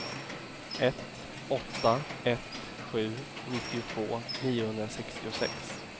ett åtta ett sju nittiotvå niohundrasextiosex